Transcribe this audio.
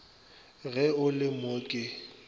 ge o le mo ke